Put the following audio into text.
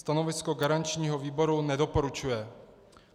Stanovisko garančního výboru: Nedoporučuje.